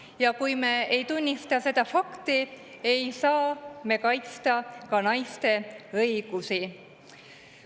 Ja kui me ei tunnista seda fakti, ei saa me kaitsta ka naiste õigusi.